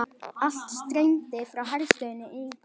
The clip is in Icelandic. Allt streymdi frá herstöðinni í bæinn.